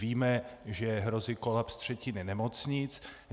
Víme, že hrozí kolaps třetiny nemocnic.